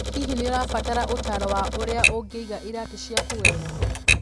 Hihi nĩ ũrabatara ũtaaro wa ũrĩa ũngĩiga iratũ ciaku wega?